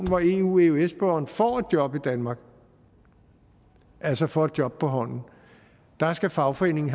hvor eu eøs borgeren får et job i danmark altså får et job på hånden der skal fagforeningen